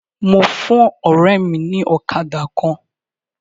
Mo fún ọ̀rẹ́ mi ní ọ̀kadà kan.